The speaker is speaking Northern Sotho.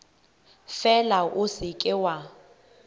fela o se ke wa